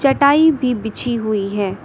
चटाई भी बिछी हुई है।